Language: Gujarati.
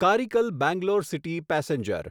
Karaikal Bangalore city passenger